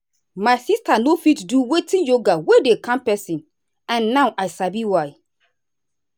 my sister no fit do without yoga wey wey dey calm person and now i sabi why.